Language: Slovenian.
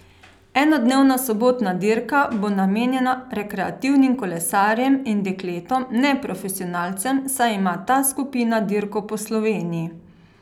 Enodnevna sobotna dirka bo namenjena rekreativnim kolesarjem in dekletom, ne profesionalcem, saj ima ta skupina dirko po Sloveniji.